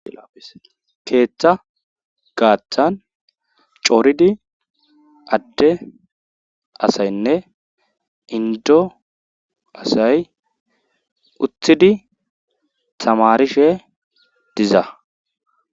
keeththa gaaththan cooridii adde asaynne indo asay uttidii tamarishe diza